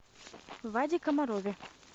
ваде комарове